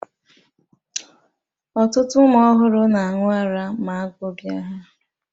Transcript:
Ọtụtụ ụmụ ọhụrụ na-aṅụ ara ma agụ bịa ha